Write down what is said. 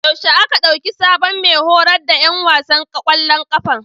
Yaushe aka ɗauki sabon mai horas da ƴan wasan ƙwallon ƙafan?